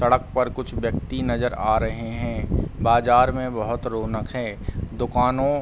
सड़क पर कुछ व्यक्ति नजर आ रहे हैं। बाजार में बहोत रोनक है। दुकानों --